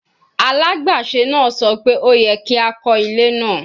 Alagbaṣe naa sọ pe o yẹ ki a kọ ile naa